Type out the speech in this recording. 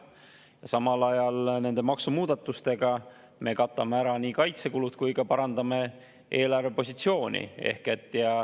Samal ajal nende maksumuudatustega me katame ära nii kaitsekulud kui ka parandame eelarvepositsiooni.